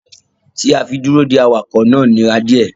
Ti a fi duro dè awakọ náà nira diẹ.